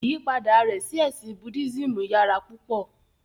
Ìyipada rẹ̀ sí ẹ̀sìn Buddhismù yàrà púpọ.